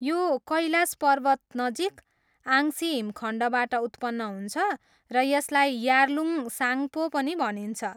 यो कैलाश पर्वतनजिक आङ्सी हिमखण्डबाट उत्पन्न हुन्छ र यसलाई यार्लुङ साङ्गपो पनि भनिन्छ।